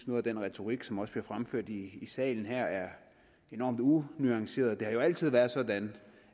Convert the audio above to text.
noget af den retorik som også bliver fremført i salen her er enormt unuanceret det har jo altid været sådan